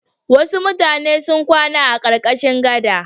Wasu mutane sun kwana a ƙarƙashin gada.